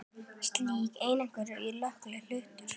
Slík eining er kölluð hlutur.